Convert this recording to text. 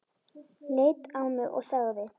Leit á mig og sagði